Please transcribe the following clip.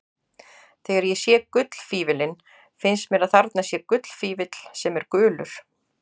Þegar ég sé gullfífillinn finnst mér að þarna sé gullfífill sem er gulur.